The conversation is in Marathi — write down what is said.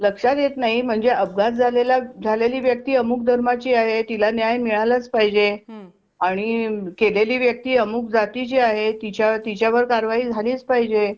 लक्षात येत नाही म्हणजे अपघात झालेला झालेली व्यक्ती अमुक धर्माची आहे तिला न्याय मिळालाच पाहिजे आणि केलेली व्यक्ती अमुक जातीची आहे तिच्या तिच्यावर कारवाई झालीच पाहिजे.